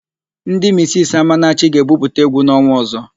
Ndị misisi Amanachi ga-ebupụta égwú n'ọnwa ọ̀zọ́.